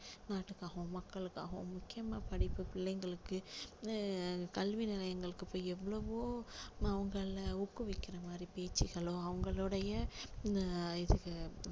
நாட்டுகாகவும் மக்களுக்காகவும் முக்கியமா படிப்பு பிள்ளைங்களுக்கு அஹ் கல்வி நிலையங்களுக்கு போய் எவ்வளவோ அவங்களை ஊக்குவிக்கிற மாதிரி பேச்சுகளும் அவங்களுடைய அஹ் இதுக்கு